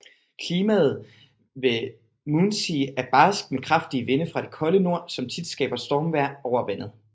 Klimaet ved Moonsea er barskt med kraftige vinde fra det kolde nord som tit skaber stormvejr over vandet